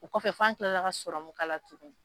O kɔfɛ fan kilala ka tugun.